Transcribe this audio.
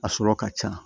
A sɔrɔ ka ca